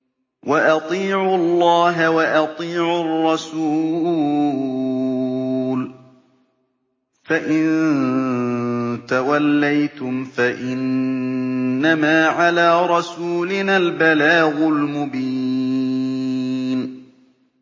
وَأَطِيعُوا اللَّهَ وَأَطِيعُوا الرَّسُولَ ۚ فَإِن تَوَلَّيْتُمْ فَإِنَّمَا عَلَىٰ رَسُولِنَا الْبَلَاغُ الْمُبِينُ